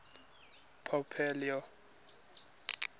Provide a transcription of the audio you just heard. pope leo